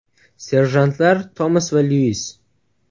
Serjantlar Tomas va Lyuis.